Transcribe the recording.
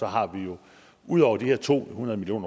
har vi jo ud over de her to hundrede million